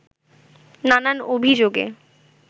নানান অভিযোগে